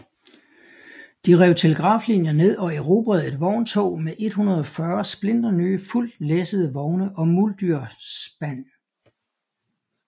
De rev telegraflinjer ned og erobrede et vogntog med 140 splinternye fuldt læssede vogne og muldyrspan